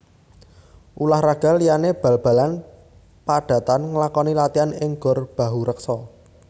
Ulah raga liyane bal balan padatan nglakoni latian ing Gor Bahurekso